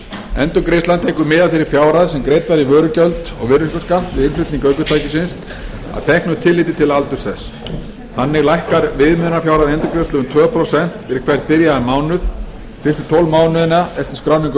endurgreiðslan tekur mið af þeirri fjárhæð sem greidd var í vörugjöld og virðisaukaskatt við innflutning ökutækisins að teknu tilliti til aldurs þess þannig lækkar viðmiðunarfjárhæð endurgreiðslu um tvö prósent fyrir hvern byrjaðan mánuð fyrstu tólf mánuðina eftir skráningu